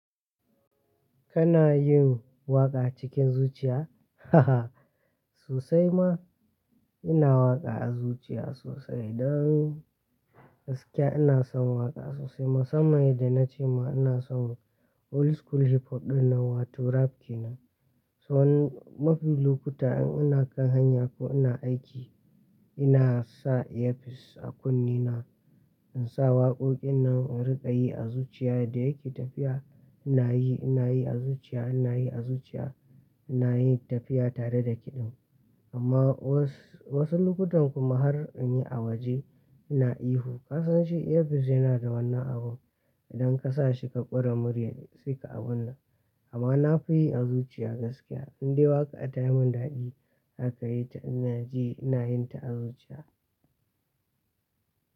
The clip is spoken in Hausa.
Kana yin waƙa cikin zuciya? Haha sosai ma ina waƙa a zuciya sosai. Don gaskiya ina son waƙa sosai. Musamman da na ce ma ina son old school hip hop ɗin nan wato rap ke nan. So mafi lokuta in ina kan hanya ko ina aiki ina sa earpiece a kunne na, in sa waƙoƙin nan in riƙa yi a zuciya da yake tafiya ina yi ina yi a zuciya ina yi a zuciya ina yin tafiya tare da kiɗin. Amma wasu lokutan kuma har in yi a waje ina ihu. Ka san shi earpiece yana da wannan abun idan ka sa shi ka ƙora muryar shi sai ka abun nan. Amma na fi yi a zuciya gaskiya. Indai waƙa ta yi mun daɗi haka yi ta ina ji ina yin ta a zuciya.